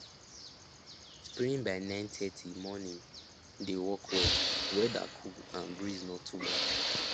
spraying by 930 morning dey work wellweather cool and breeze no too much